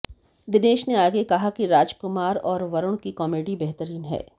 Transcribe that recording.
दिनेश ने आगे कहा कि राजकुमार और वरुण की कॉमिडी बेहतरीन है